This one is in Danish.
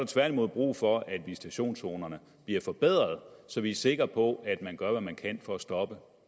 tværtimod brug for at visitationszonerne bliver forbedret så vi er sikre på at man gør hvad man kan for at stoppe